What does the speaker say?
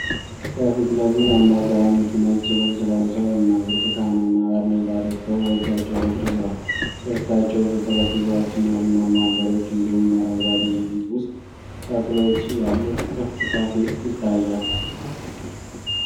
ከፊት ለፊት አንድ አዛውንት ነጭ ልብስ ለብሰው እና ብርቱካንማ ባርኔጣ ደፍተው በእጃቸው በትር ይዘዋል። ከፊታቸው ብዙ ጠረጴዛዎች እና ቡናማ ወንበሮች እንዲሁም አረንጓዴ የቤት ውስጥ ተክሎች ያሉት ክፍት ካፌ ይታያል።